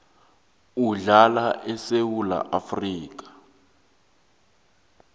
uhlala esewula afrika